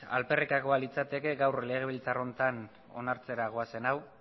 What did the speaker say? alperrikakoa litzateke gaur legebiltzar honetan onartzera goazen hau